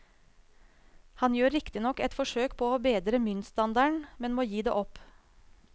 Han gjør riktignok et forsøk på å bedre myntstandarden, men må gi det opp.